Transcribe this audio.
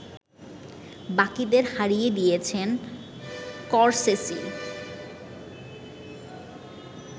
বাকিদের হারিয়ে দিয়েছেন স্করসেসি